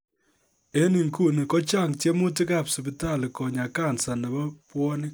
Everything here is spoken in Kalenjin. En inguni kochang tyemutik ab sipitali konyaa kansa nebo bwonik